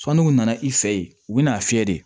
Sɔnni u nana i fɛ yen u bɛn'a fiyɛ de